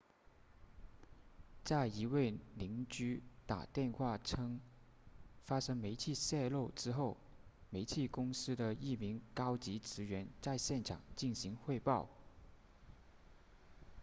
在一位邻居打电话称发生煤气泄漏之后煤气公司的一名高级职员在现场进行汇报